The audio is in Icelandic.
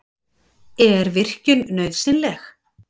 Er virkjun nauðsynleg?